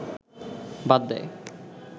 বাদ দেয়